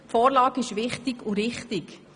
Die Vorlage ist wichtig und richtig.